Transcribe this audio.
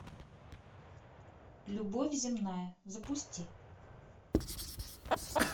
любовь земная запусти